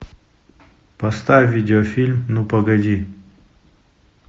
поставь видеофильм ну погоди